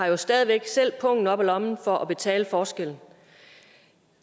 jo stadig væk selv pungen op af lommen for at betale forskellen